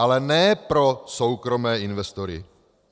Ale ne pro soukromé investory.